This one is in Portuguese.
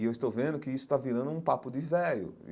E eu estou vendo que isso está virando um papo de véio.